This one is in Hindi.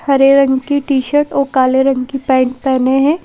हरे रंग की टी-शर्ट और काले रंग की पैंट पहेने है।